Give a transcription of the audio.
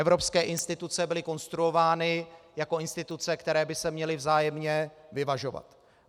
Evropské instituce byly konstruovány jako instituce, které by se měly vzájemně vyvažovat.